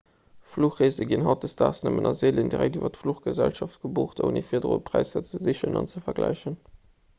fluchreese ginn hautdesdaags nëmmen nach seelen direkt iwwer d'fluchgesellschaft gebucht ouni virdru präisser ze sichen an ze vergläichen